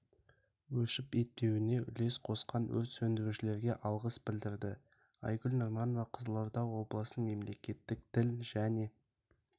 өршіпк етпеуіне үлес қосқан өрт сөндірушілерге алғыс білдірді айгүл нұрманова қызылорда облысы мемлекеттік тіл және